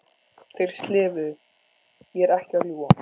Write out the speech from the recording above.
Þeir slefuðu, ég er ekki að ljúga!